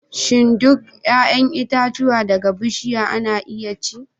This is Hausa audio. Shin duk 'ya'yan itatuwa daga bishiya ana iya ci?